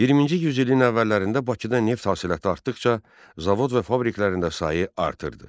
20-ci yüzilin əvvəllərində Bakıda neft hasilatı artdıqca zavod və fabriklərində sayı artırdı.